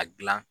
A gilan